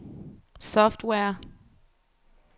software